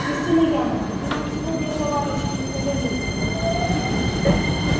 христина яновна ты нам сегодня заварочки не пожалей